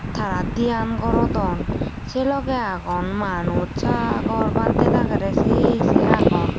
tara diyan gorodon sei logey agon manus sagor bantey dageri sei sei agon.